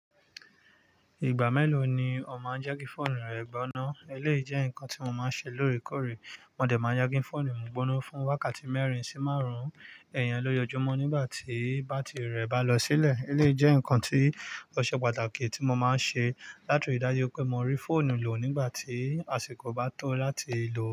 Ìgbà mélòó ni ò máa ń je ki fóònù rẹ gbóná? Eléyìí jẹ́ ǹkan tí mo máa ń ṣe lóòrèkóòrè. Mọ̀ dẹ̀ máa n de ki fóònù mi gbóná fún wákàtí mẹ́rin sí márùn-ún iyen lójoojúmọ́ nígbà tí bátìrì rẹ̀ bá lọ sílẹ̀. Eléyìí jẹ́ ǹkan tí ó ṣe pàtàkì tí mo máa ń ṣe láti ri daju pé mo rí fóònù lò nígbà tí àsìkò bá tó láti lò.